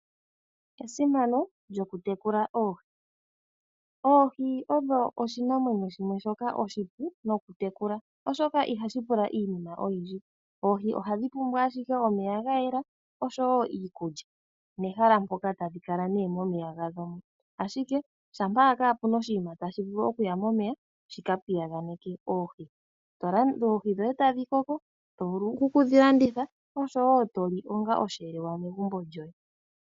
Esimano lyokutekula oohi. Oohi odho oshinamwenyo shimwe shoka oshipu nokutekula, oshoka ihashi pula iinima oyindji. Oohi ohadhi pumbwa ashike omeya ga yela osho woo iikulya. Nehala mpoka tadhi kala nee momeya gadho mo. Ashike shampa owala kaapuna oshinima tashi vulu okuya momeya shika piyaganeke oohi. Oohi dhoye tadhi koko, to vulu okudhi landitha osho woo to li onga osheelelwa megumbo lyoye.